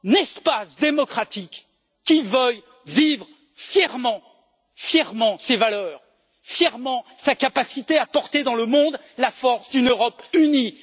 espace démocratique qui veuille vivre fièrement ses valeurs, fièrement sa capacité à porter dans le monde la force d'une Europe unie.